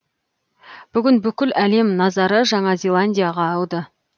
бүгін бүкіл әлем назары жаңа зеландияға ауды